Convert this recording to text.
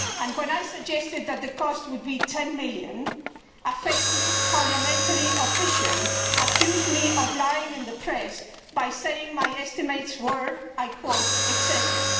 When I had suggested that the cost would be EUR 10 million, a faceless parliamentary official accused me of lying in the press by saying my estimates were, I quote, excessive'.